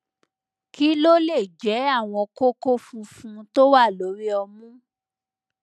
kí ló lè jẹ àwọn kókó funfun tó wà lórí ọmú